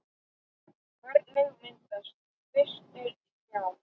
Hvernig myndast kvistir í trjám?